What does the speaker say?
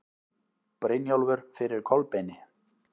Brynjólfur fyrir Kolbeini.